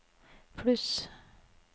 pluss